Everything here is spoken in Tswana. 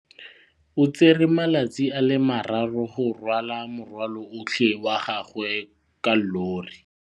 O tsere malatsi a le marraro go rwala morwalo otlhe wa gagwe ka llori.